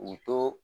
U to